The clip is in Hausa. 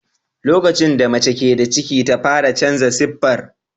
Lokacin da mace ke da ciki ta fara canza siffar.